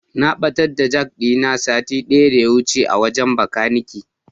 Na ɓatar da jak ɗina sati ɗaya daya wuce a wajen Bakanike.